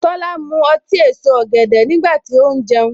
Tola mu ọtí èso ọ̀gẹ̀dẹ̀ nígbà tí ó ń jẹun.